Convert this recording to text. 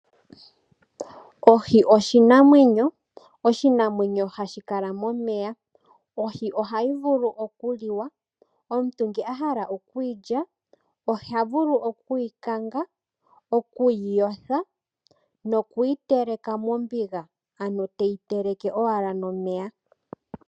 Ohi oshimamwenyo. Oshinamwenyo hashi kala momeya. Ohi ohayi vulu oku liwa. Omuntu ngele ahala oku yilya . Oha vulu oku yi kanga. Oku yi yotha nokuyi teleka mombiga ano teyi teleke owala nomeya.